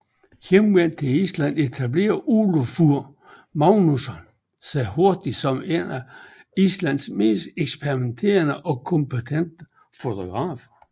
Hjemvendt til Island etablerede Ólafur Magnússon sig hurtigt som en af Islands mest eksperimenterende og kompetente fotografer